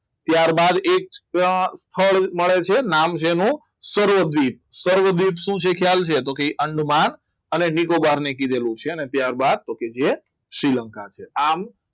ત્યારબાદ એક ફળ મળે છે નામ છે એનું સર્વદીપ સર્વદીપ શું છે ખ્યાલ છે તો એ છે અંદમાન અને નિકોબાર ને કીધેલું છે અને ત્યારબાદ તકે જે શ્રીલંકા છે